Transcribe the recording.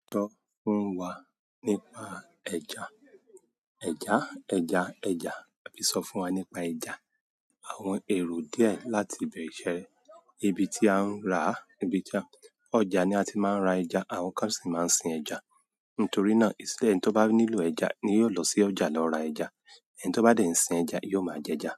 Sọ fún wa nípa ẹja. Ẹ̀já, ẹja, ẹjà. Okay, sọ fún wa nípa ẹja. Àwọn èrò díẹ̀ láti ibẹ̀ ṣe ẹ. Ibi tí a ń ra, ibi tí ọjà ni a ti máa ń ra ẹja, àwọn kan sì máa ń sin ẹja. Nítorí náà, ẹni tí ó bá nílò ẹja ni yóò lọ sí ọjà lọ ra ẹja. Ẹni tó bá dẹ̀ ń sin ẹja, yóò máa jẹja.